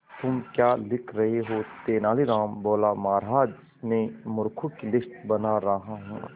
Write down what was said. तुम क्या लिख रहे हो तेनालीराम बोला महाराज में मूर्खों की लिस्ट बना रहा हूं